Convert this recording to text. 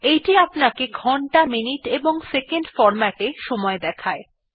এইটি আমাদেরকে ঘন্টা মিনিট এবং সেকেন্ডহ্ এমএম এসএস ফরম্যাট এ সময় দেখায়